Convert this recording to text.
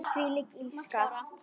Þvílík illska.